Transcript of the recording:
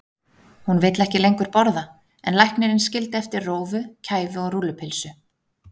Hún vill ekki lengur borða en læknirinn skildi eftir rófu, kæfu og rúllupylsu.